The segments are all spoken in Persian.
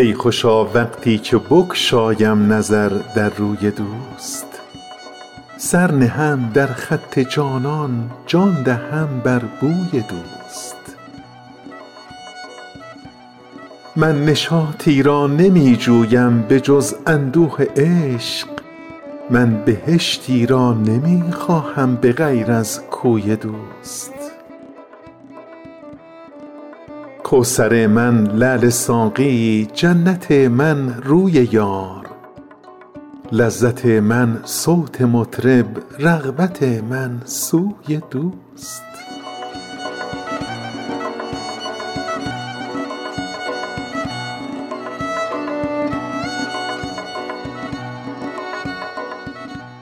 ای خوشا وقتی که بگشایم نظر در روی دوست سر نهم در خط جانان جان دهم بر بوی دوست من نشاطی را نمی جویم به جز اندوه عشق من بهشتی را نمی خواهم به غیر از کوی دوست کوثر من لعل ساقی جنت من روی یار لذت من صوت مطرب رغبت من سوی دوست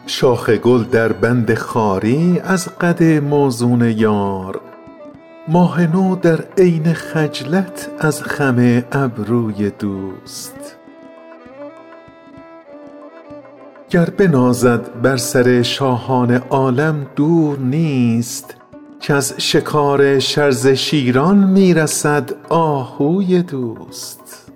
شاخ گل در بند خواری از قد موزون یار ماه نو در عین خجلت از خم ابروی دوست گر بنازد بر سر شاهان عالم دور نیست کز شکار شرزه شیران می رسد آهوی دوست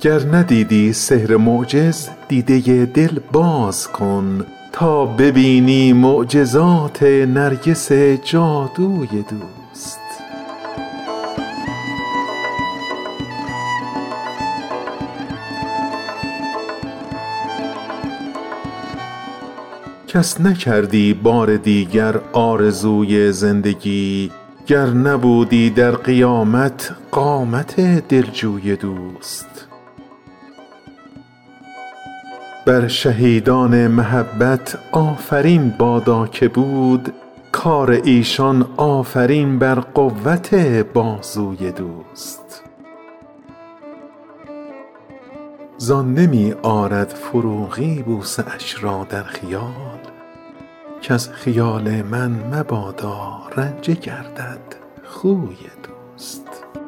گر ندیدی سحر و معجز دیده دل باز کن تا ببینی معجزات نرگس جادوی دوست کس نکردی بار دیگر آرزوی زندگی گر نبودی در قیامت قامت دل جوی دوست بر شهیدان محبت آفرین بادا که بود کار ایشان آفرین بر قوت بازوی دوست زان نمی آرد فروغی بوسه اش را در خیال کز خیال من مبادا رنجه گردد خوی دوست